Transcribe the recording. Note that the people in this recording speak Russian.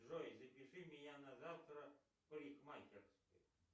джой запиши меня на завтра в парикмахерскую